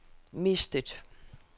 mistet